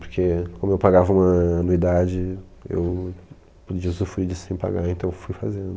Porque como eu pagava uma anuidade, eu podia usufruir disso sem pagar, então eu fui fazendo.